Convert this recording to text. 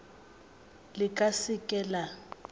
le ka se ke la